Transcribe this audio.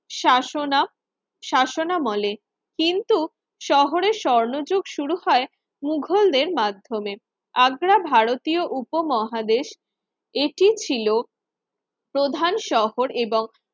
শাসনা শাসনামলে কিন্তু শহরের স্বর্ণযুগ শুরু হয় মুঘলদের মাধ্যমে আগ্রা ভারতীয় উপমহাদেশ এটি ছিল প্রধান শহর এবং